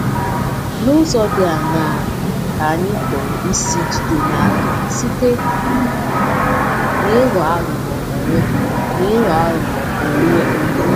N’ụzọ dị aṅaa ka anyị pụrụ isi jide n’aka site um n’ịghọ aghụghọ onwe n’ịghọ aghụghọ onwe onye?